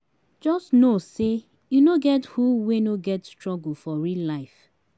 jus no sey e no get who wey no get struggle for real life